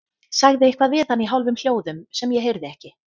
Sagði eitthvað við hann í hálfum hljóðum sem ég heyrði ekki.